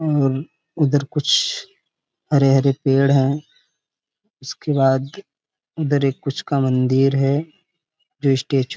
और उधर कुछ हरे-हरे पेड़ है इसके बाद उधर एक कुछ का मंदिर है जो स्टेचू --